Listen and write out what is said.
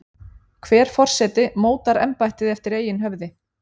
hver forseti mótar embættið eftir eigin höfði